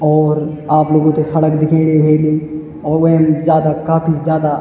और आप लोगों थे सड़क दिखेणी ह्वेलि और वेम जादा काफी जादा।